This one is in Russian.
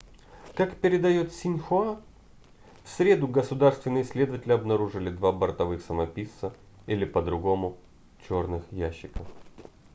как передает синьхуа в среду государственные следователи обнаружили два бортовых самописца или по-другому черных ящика